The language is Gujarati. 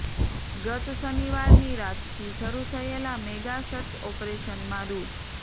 ગત શનિવારની રાતથી શરૂ થયેલા મેગા સર્ચ ઓપરેશનમાં રૂ